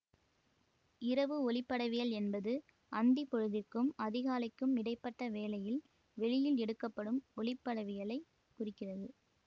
இரவு ஒளிப்படவியல் என்பது அந்தி பொழுதிற்கும் அதிகாலைக்கும் இடை பட்ட வேளையில் வெளியில் எடுக்கப்படும் ஒளிப்படவியலைக் குறிக்கிறது